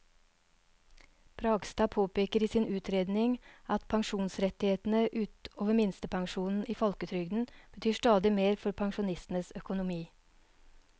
Bragstad påpeker i sin utredning at pensjonsrettighetene ut over minstepensjonen i folketrygden betyr stadig mer for pensjonistenes økonomi.